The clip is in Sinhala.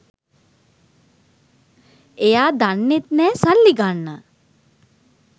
එයා දන්නෙත් නෑ සල්ලි ගන්න